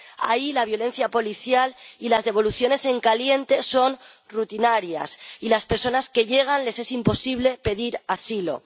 Ahí, la violencia policial y las devoluciones en caliente son rutinarias y a las personas que llegan les es imposible pedir asilo.